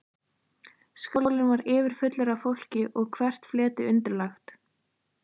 Skálinn var yfirfullur af fólki og hvert fleti undirlagt.